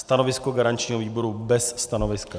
Stanovisko garančního výboru - bez stanoviska.